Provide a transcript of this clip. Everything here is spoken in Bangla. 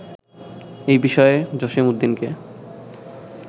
এই বিষয়ে জসীমউদ্দীনকে